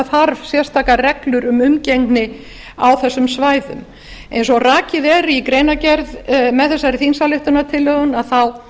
þarf sérstakar reglur um umgengni á þessum svæðum eins og rakið er í greinargerð með þessari þingsályktunartillögu er það